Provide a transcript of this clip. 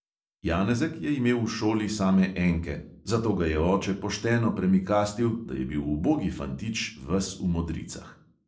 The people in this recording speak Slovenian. Janezek je imel v šoli same enke, zato ga je oče pošteno premikastil, da je bil ubogi fantič ves v modricah.